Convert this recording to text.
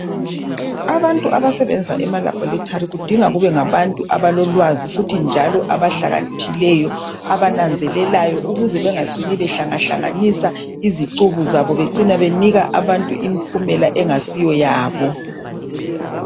Abantu abasebenza emalabhorethari kudinga kube ngabantu abalolwazi futhi njalo abahlakaniphileyo abananzelelayo ukuze bengacini bangahlangahlanganisi izicubu zabo becine benika abantu impumela engayisiyo yabo.